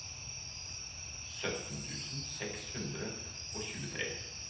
sytten tusen seks hundre og tjuetre